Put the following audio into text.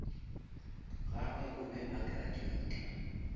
gagwe o be a graduata